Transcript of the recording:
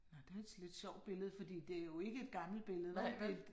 Nå det altså et lidt sjovt billede fordi det jo ikke et gammelt billede vel